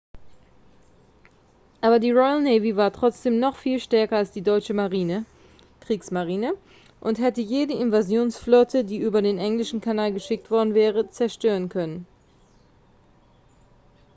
aber die royal navy war trotzdem noch viel stärker als die deutsche marine kriegsmarine und hätte jede invasionsflotte die über den englischen kanal geschickt worden wäre zerstören können